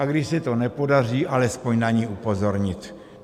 A když se to nepodaří, alespoň na ni upozornit.